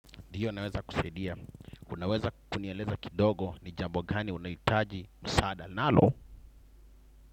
Ndiyo naweza kusaidia. Kunaweza kunieleza kidogo ni jambo gani unahitaji msaada nalo.